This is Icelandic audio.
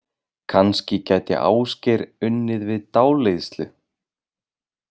Kannski gæti Ásgeir unnið við dáleiðslu?